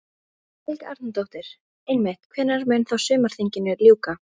Helga Arnardóttir: Einmitt, hvenær mun þá sumarþinginu ljúka?